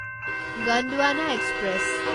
Gondwana express